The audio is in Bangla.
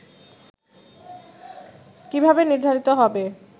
' কিভাবে নির্ধারিত হবে